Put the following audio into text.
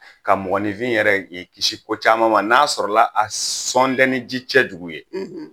Ka mɔgɔninfin yɛrɛ k'i kisi ko caman ma n'a sɔrɔla a sɔt ni ji cɛjugu ye